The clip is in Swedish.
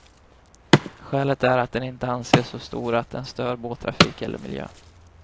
Skälet är att den inte anses så stor att den stör båttrafik eller miljö.